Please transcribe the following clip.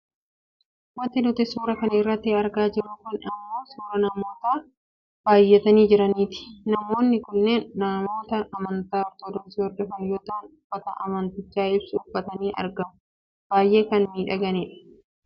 Wanti nuti suuraa kana irratti argaa jirru kun ammoo suuraa namoota baayyatanii jiraniiti. Namoonni kunneen namoota amantaa ortodoksi hordofan yoo ta'an uffata amanticha ibsu uffataniiti argamu. Baayyee kan miidhaganii dha.